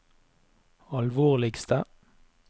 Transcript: alvorligste